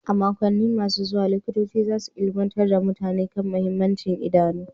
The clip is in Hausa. A makonni masu zuwa, Likitoci za su ilimantar da mutane kan mahimmancin idanu.